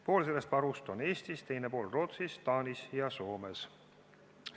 Pool sellest varust on Eestis, teine pool on Rootsis, Taanis ja Soomes.